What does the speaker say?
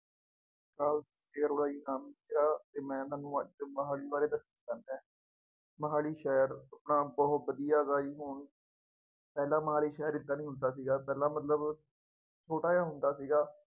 ਸਤਿ ਸ੍ਰੀ ਅਕਾਲ ਫੇਰ ਬਾਈ ਨਮਸਕਾਾਰ ਅਤੇ ਮੈਂ ਤੁਹਾਨੂੰ ਅੱਜ ਮੁਹਾਲੀ ਬਾਰੇ ਦੇੱਸਣ ਜਾ ਰਿਹਾ, ਮੁਹਾਲੀ ਸ਼ਹਿਰ ਤਾਂ ਬਹੁਤ ਵਧੀਆਂ ਹੈਗਾ ਜੀ ਹੁਣ ਪਹਿਲਾ ਮੁਹਾਲੀ ਸ਼ਹਿਰ ਏਦਾਂ ਨਹੀਂ ਹੁੰਦਾ ਸੀਗਾ, ਪਹਿਲਾ ਮਤਲਬ ਛੋਟਾ ਜਿਹਾ ਹੁੰਦਾ ਸੀਗਾ।